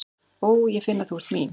Ó, ég finn að þú ert mín.